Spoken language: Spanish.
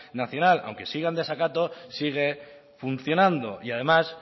nacional aunque siga en desacato sigue funcionando y además